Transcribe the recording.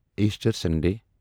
Easter Sunday